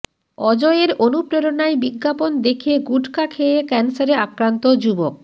অজয়ের অনুপ্রেরণায় বিজ্ঞাপন দেখে গুটখা খেয়ে ক্যানসারে আক্রান্ত যুবক